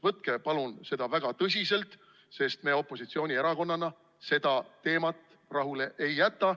Võtke palun seda väga tõsiselt, sest me opositsioonierakonnana seda teemat rahule ei jäta.